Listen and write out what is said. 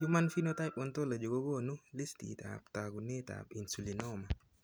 Human phenotype Ontology kokoonu listiitab taakunetaab Insulinoma.